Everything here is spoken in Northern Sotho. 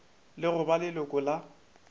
le go ba leloko la